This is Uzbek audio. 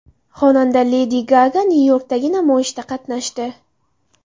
Xonanda Ledi Gaga Nyu-Yorkdagi namoyishda qatnashdi.